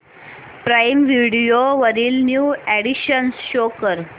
prime Video वरील new additions show कर